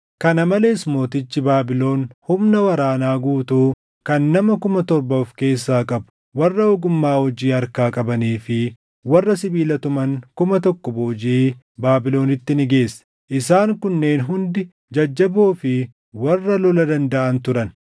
Kana malees mootichi Baabilon humna waraanaa guutuu kan nama kuma torba of keessaa qabu, warra ogummaa hojii harkaa qabanii fi warra sibiila tuman kuma tokko boojiʼee Baabilonitti ni geesse; isaan kunneen hundi jajjaboo fi warra lola dandaʼan turan.